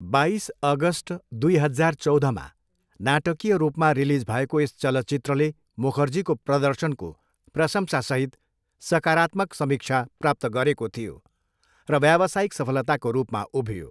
बाइस अगस्ट दुई हजार चौधमा नाटकीय रूपमा रिलिज भएको यस चलचित्रले मुखर्जीको प्रदर्शनको प्रशंसासहित सकारात्मक समीक्षा प्राप्त गरेको थियो र व्यावसायिक सफलताको रूपमा उभियो।